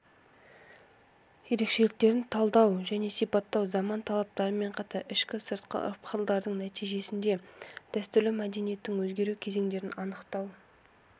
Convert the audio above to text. ерекшеліктерін талдау және сипаттау заман талаптарымен қатар ішкі-сыртқы ықпалдардың нәтижесінде дәстүрлі мәдениеттің өзгеру кезендерін анықтау